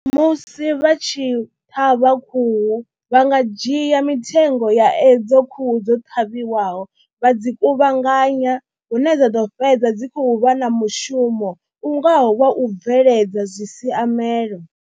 Musi vha tshi ṱhavha khuhu vha nga dzhia mitengo ya edzo khuhu dzo ṱhavheliwaho vha dzi kuvhanganya hune dza ḓo fhedza dzi khou vha na mushumo u ngaho wa u bveledza zwi siaamelo.